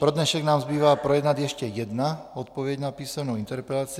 Pro dnešek nám zbývá projednat ještě jednu odpověď na písemnou interpelaci.